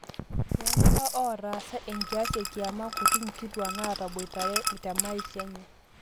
toolewa ootaasa enkias ekiama kuti inkituaak naataboitare temaisha enye